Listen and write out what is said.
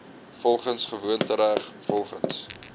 volgens gewoontereg volgens